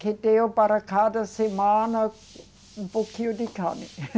que deu para cada semana um, um pouquinho de carne.